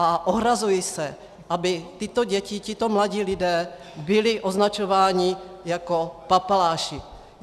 A ohrazuji se, aby tyto děti, tito mladí lidé byli označováni jako papaláši.